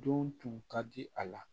Don tun ka di a la